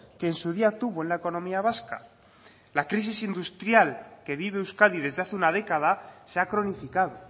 que en su día tuvo en la economía vasca la crisis industrial que vive euskadi desde hace una década se ha cronificado